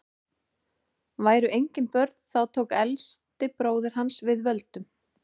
væru engin börn þá tók elsti bróðir hans við völdum